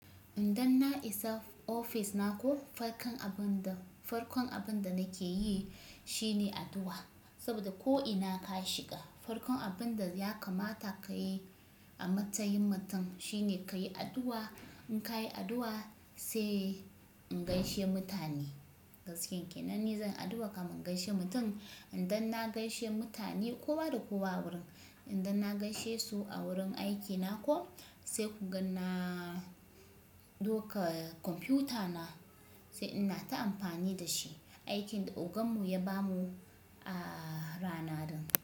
Idan na isa ofis na ko, farkon abin da, farkon abin da nake yi shine addu'a. Saboda ko ina ka shiga farkon abin da ya kamata ka yi a matsayin mutum shine ka yi addu'a. In ka yi addu'a sai in gaishe mutane. Gaskiyan ke nan ni zan yi addu'a kamin in gaishe mutum. Idan na gaishe mutane, kowa da kowa a wurin, idan na gaishe su a wurin aikina ko sai kun ga na doka kwamfutana sai ina ta amfani da shi. Aikin da oganmu ya bamu a rana din.